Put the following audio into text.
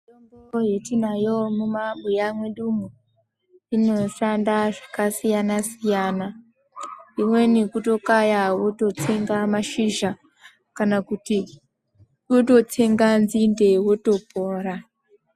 Mitombo yetiinayo mumabuya mwedumwo inoshanda zvakasiyana-siyana. Imweni kutokaya wototsenga mashizha kana kuti wototsenga nzinde wotopora.